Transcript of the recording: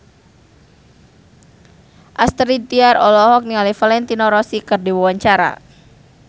Astrid Tiar olohok ningali Valentino Rossi keur diwawancara